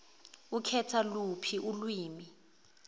ukhetha luphi ilwimi